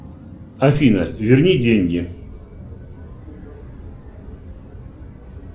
афина верни деньги